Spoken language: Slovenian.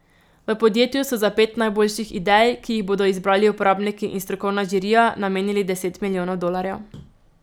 V podjetju so za pet najboljših idej, ki jih bodo izbrali uporabniki in strokovna žirija, namenili deset milijonov dolarjev.